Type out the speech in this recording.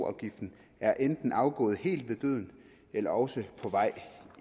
afgiften er enten afgået helt ved døden eller også på vej